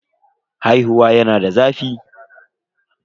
Haihuwa yana da zafi.